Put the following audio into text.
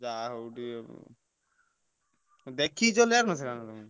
ଯାହା ହଉ ଟିକେ ଦେଖିକି ଚଲେଇଆର ନଥିଲା ନା କଣ।